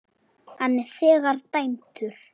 Hann er þegar dæmdur.